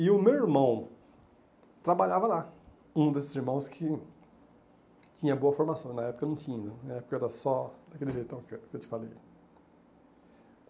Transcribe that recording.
E o meu irmão trabalhava lá, um desses irmãos que tinha boa formação, na época não tinha, na época era só daquele jeitão que que eu te falei.